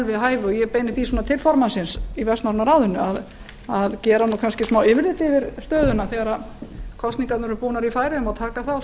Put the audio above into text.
við hæfi og ég beini því svona til formannsins í vestnorræna ráðinu að gera kannski smá yfirlit yfir stöðuna þegar kosningarnar eru búnar í færeyjum og taka